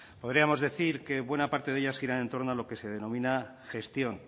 podríamos decir que buena parte de ellas gira en torno a lo que se denomina gestión